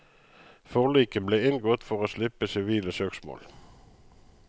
Forliket ble inngått for å slippe sivile søksmål.